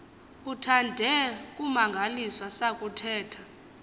uthande kumangaliswa sakuthetha